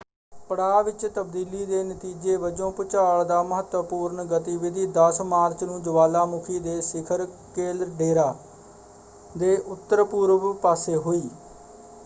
ਪੜਾਅ ਵਿੱਚ ਤਬਦੀਲੀ ਦੇ ਨਤੀਜੇ ਵਜੋਂ ਭੂਚਾਲ ਦੀ ਮਹੱਤਵਪੂਰਨ ਗਤੀਵਿਧੀ 10 ਮਾਰਚ ਨੂੰ ਜਵਾਲਾਮੁਖੀ ਦੇ ਸਿਖਰ ਕੈਲਡੇਰਾ ਦੇ ਉੱਤਰ ਪੂਰਬ ਪਾਸੇ ਹੋਈ।